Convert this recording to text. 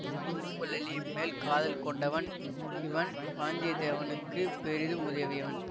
பூங்குழலி மேல் காதல் கொண்டவன் இவன் வாந்தியத்தேவனுக்கு பெரிதும் உதவியவன்